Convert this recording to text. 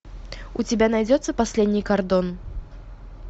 у тебя найдется последний кордон